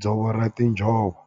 dzovo ra tinjhovo.